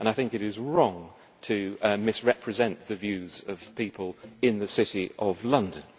I think it is wrong to misrepresent the views of people in the City of London.